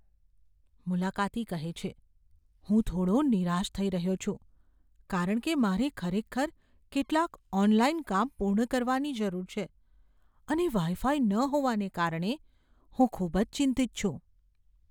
મુલાકાતી કહે છે, "હું થોડો નિરાશ થઈ રહ્યો છું કારણ કે મારે ખરેખર કેટલાક ઓનલાઈન કામ પૂર્ણ કરવાની જરૂર છે અને વાઈ ફાઈ ન હોવાને કારણે હું ખૂબ જ ચિંતિત છું".